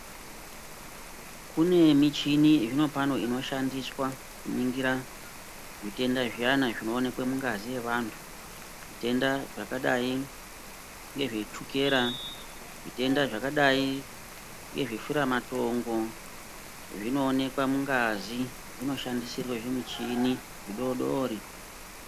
Kune michini zvinopano inoshandiswa kuningira zvitenda zviyana zvinoonekwe mungazi yevantu, zvitenda zvakadai ngezvechukera, zvitenda zvakadai ngezveshura matongo zvinooneke mungazi zvinoshandisirwe zvimuchini zvidodori.